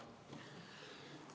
Palun!